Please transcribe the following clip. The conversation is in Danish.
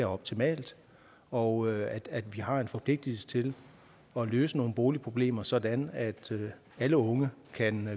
optimalt og at vi har en forpligtelse til at løse nogle boligproblemer sådan at alle unge kan